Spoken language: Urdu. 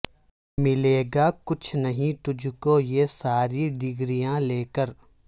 ملے گا کچھ نہیں تجھ کو یہ ساری ڈگریاں لے کر